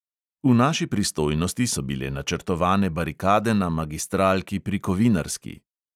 V naši pristojnosti so bile načrtovane barikade na magistralki pri kovinarski.